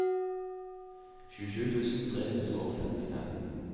tjuesju tusen tre hundre og femtifem